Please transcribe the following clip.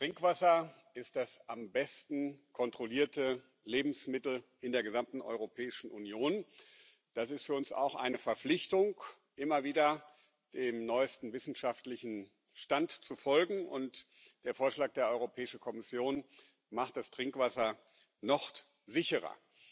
Trinkwasser ist das am besten kontrollierte Lebensmittel in der gesamten Europäischen Union. Das ist für uns auch eine Verpflichtung, immer wieder dem neuesten wissenschaftlichen Stand zu folgen, und der Vorschlag der Europäischen Kommission macht das Trinkwasser noch sicherer.